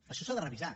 això s’ha de revisar